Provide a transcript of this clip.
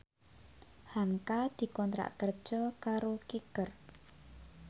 hamka dikontrak kerja karo Kicker